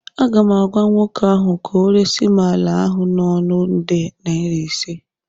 Aga m agwa nwoke ahụ ka ọ resim ala ahụ n'ọnụ nde naira ise